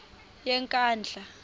yenkandla